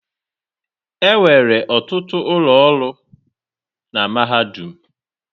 Enwere ọtụtụ ụlọ ọrụ na mahadum.